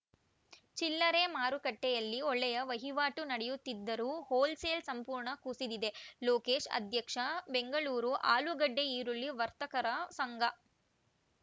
ಚಿಲ್ಲರೆ ಮಾರುಕಟ್ಟೆಯಲ್ಲಿ ಒಳ್ಳೆಯ ವಹಿವಾಟು ನಡೆಯುತ್ತಿದ್ದರೂ ಹೋಲ್‌ಸೇಲ್‌ ಸಂಪೂರ್ಣ ಕುಸಿದಿದೆ ಲೋಕೇಶ್‌ ಅಧ್ಯಕ್ಷ ಬೆಂಗಳೂರು ಆಲೂಗಡ್ಡೆಈರುಳ್ಳಿ ವರ್ತಕರ ಸಂಘ